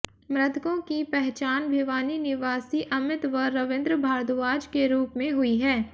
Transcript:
मृतकों की पहचान भिवानी निवासी अमित व रविन्द्र भारद्वाज के रूप में हुई है